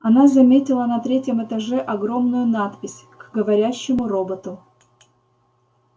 она заметила на третьем этаже огромную надпись к говорящему роботу